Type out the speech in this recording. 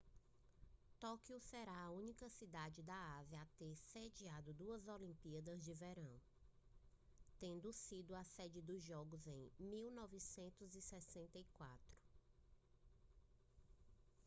tóquio será a única cidade da ásia a ter sediado duas olimpíadas de verão tendo sido sede dos jogos em 1964